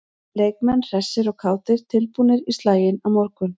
Leikmenn hressir og kátir- tilbúnir í slaginn á morgun.